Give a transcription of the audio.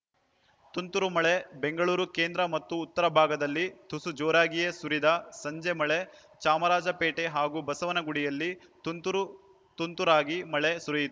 ತುಂತುರು ಮಳೆ ಬೆಂಗಳೂರು ಕೇಂದ್ರಮತ್ತು ಉತ್ತರ ಭಾಗದಲ್ಲಿ ತುಸು ಜೋರಾಗಿಯೇ ಸುರಿದ ಸಂಜೆ ಮಳೆ ಚಾಮರಾಜಪೇಟೆ ಹಾಗೂ ಬಸವನಗುಡಿಯಲ್ಲಿ ತುಂತುರು ತುಂತುರಾಗಿ ಮಳೆ ಸುರಿಯಿತ್